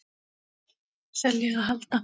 Selja eða halda?